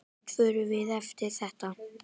Hvert förum við eftir þetta?